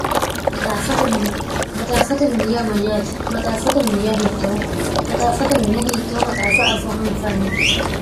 maxaaffate mine maxaaffate mini ya mayyaate maxaaffate miniya hiittoo maxaaffate mine hiittoo maxaaffa afoo anfanni